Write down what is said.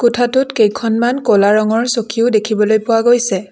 কোঠাটোত কেইখনমান ক'লা ৰঙৰ চকীও দেখিবলৈ পোৱা গৈছে।